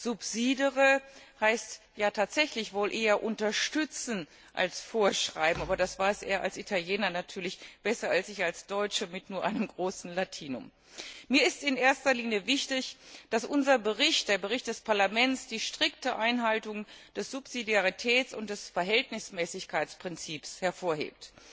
Subsidere heißt ja tatsächlich wohl eher unterstützen als vorschreiben, aber das weiß er als Italiener natürlich besser als ich als Deutsche mit nur einem großen Latinum. Mir ist in erster Linie wichtig, dass unser Bericht, der Bericht des Parlaments, die strikte Einhaltung des Subsidiaritäts und des Verhältnismäßigkeitsprinzips hervorhebt.